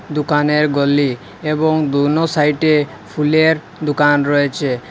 দোকানের গলি এবং দোনো সাইটে ফুলের দোকান রয়েছে।